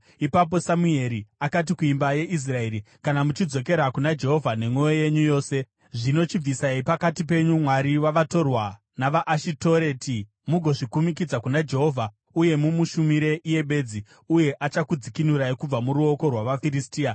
Ipapo Samueri akati kuimba yeIsraeri, “Kana muchidzokera kuna Jehovha nemwoyo yenyu yose, zvino chibvisai pakati penyu vamwari vavatorwa navaAshitoreti mugozvikumikidza kuna Jehovha uye mumushumire iye bedzi, uye achakudzikinurai kubva muruoko rwavaFiristia.”